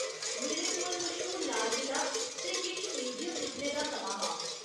मेरे कोल मश्हूर लाल किला ते किश म्यूजियम दिक्खने दा समां हा।